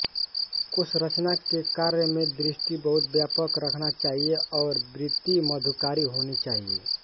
कोशरचना के कार्य में दृष्टि बहुत व्यापक रखना चाहिए और वृत्ति मधुकारी होनी चाहिए